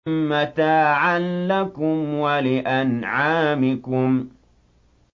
مَّتَاعًا لَّكُمْ وَلِأَنْعَامِكُمْ